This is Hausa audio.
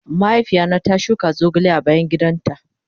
Mahaifiya na ta shuka zogale a bayan gidan ta.